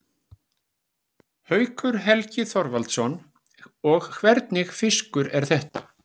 Haukur Helgi Þorvaldsson: Og hvernig fiskur er þetta?